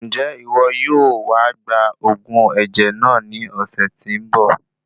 Njẹ iwọ yóò wá gba òògùn ẹ̀jẹ̀ náà ní ọ̀sẹ̀ tí nbọ?